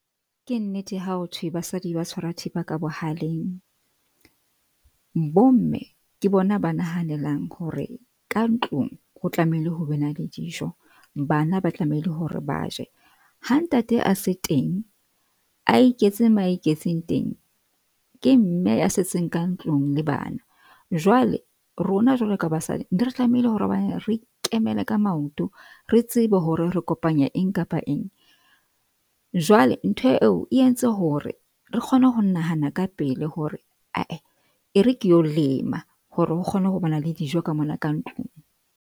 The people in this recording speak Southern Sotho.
Ke nnete, hao thwe basadi ba tshwara thipa ka bohaleng. Bomme ke bona ba nahanelang hore ka ntlong ho tlamehile ho be na le dijo. Bana ba tlamehile hore ba je. Ha ntate a se teng a iketse moo a iketseng teng, ke mme ya setseng ka ntlong le bana. Jwale rona jwalo ka basadi ne re tlamehile hore, hobane re ikemele ka maoto re tsebe hore re kopanya eng kapa eng. Jwale ntho eo e entse hore re kgone ho nahana ka pele hore ae ere ke yo lema hore ho kgone ho ba na le dijo ka mona ka ntlong.